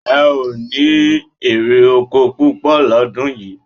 E o ní èrè oko púpọ̀ lọ́dún yìí